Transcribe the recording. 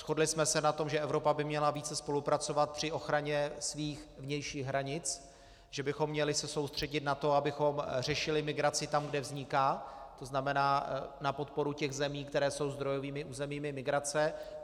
Shodli jsme se na tom, že Evropa by měla více spolupracovat při ochraně svých vnějších hranic, že bychom se měli soustředit na to, abychom řešili migraci tam, kde vzniká, to znamená na podporu těch zemí, které jsou zdrojovými územími migrace.